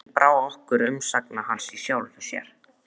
Ekki brá okkur vegna umsagna hans í sjálfu sér.